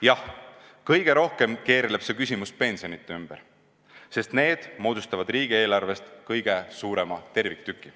Jah, kõige rohkem keerleb see küsimus pensionide ümber, sest need moodustavad riigieelarvest kõige suurema terviktüki.